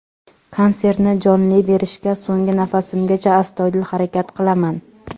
Konsertni jonli berishga so‘nggi nafasimgacha, astoydil harakat qilaman.